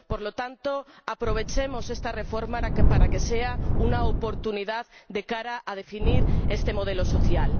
Por lo tanto, aprovechemos esta reforma para que sea una oportunidad de cara a definir este modelo social.